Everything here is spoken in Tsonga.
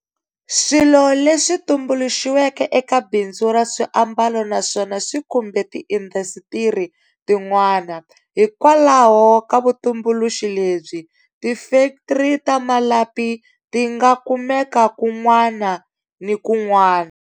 Swilo leswi tumbuluxiweke eka bindzu ra swiambalo na swona swi khumbe tiindasitiri tin'wana. Hikwalaho ka vutumbuluxi lebyi, tifektri ta malapi ti nga kumeka kun'wana ni kun'wana.